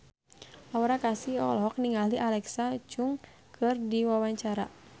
Aura Kasih olohok ningali Alexa Chung keur diwawancara